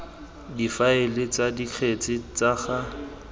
difaele tsa dikgetse tsa ga